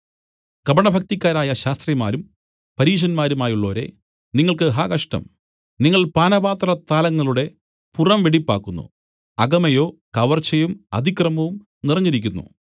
കപടഭക്തിക്കാരായ ശാസ്ത്രിമാരും പരീശന്മാരുമായുള്ളോരേ നിങ്ങൾക്ക് ഹാ കഷ്ടം നിങ്ങൾ പാനപാത്ര താലങ്ങളുടെ പുറം വെടിപ്പാക്കുന്നു അകമേയോ കവർച്ചയും അതിക്രമവും നിറഞ്ഞിരിക്കുന്നു